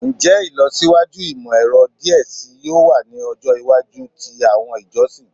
Njẹ ilọsiwaju imọ-ẹrọ diẹ sii yoo wa ni ọjọ iwaju ti awọn ijọsin?